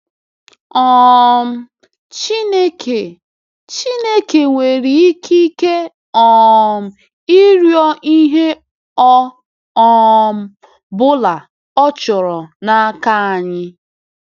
um Chineke Chineke nwere ikike um ịrịọ ihe ọ um bụla ọ chọrọ n’aka anyị.